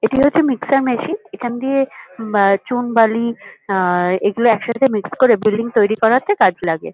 এটি হচ্ছে mixture machine. এখান দিয়ে উম চুন বালি আ এগুলো একসাথে মিক্সড করে বিল্ডিং তৈরী করাতে কাজে লাগে।